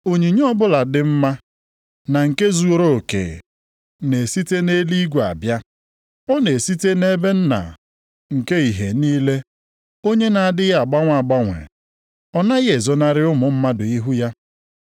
Onyinye ọbụla dị mma, na nke zuruoke na-esite nʼeluigwe abịa. Ọ na-esite nʼebe Nna nke ìhè niile onye na-adịghị agbanwe agbanwe, ọ naghị ezonarị ụmụ mmadụ ihu ya.